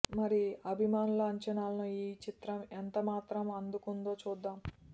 మరి అభిమానుల అంచనాలను ఈ చిత్రం ఎంత మాత్రం అందుకుందో చూద్దాం